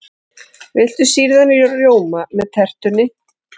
Viltu sýrðan rjóma með tertunni?